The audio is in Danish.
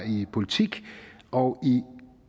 i politik og i